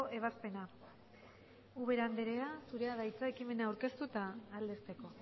ebazpena ubera anderea zurea da hitza ekimena aurkeztu eta aldezteko